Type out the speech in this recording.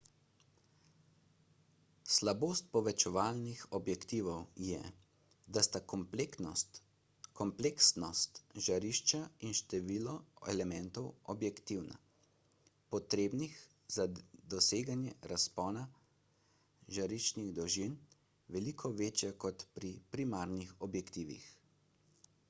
slabost povečevalnih objektivov je da sta kompleksnost žarišča in število elementov objektiva potrebnih za doseganje razpona žariščnih dolžin veliko večja kot pri primarnih objektivih